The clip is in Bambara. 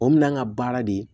O minan ka baara de ye